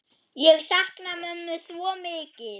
Ég sakna mömmu svo mikið.